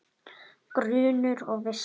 Grunur og vissa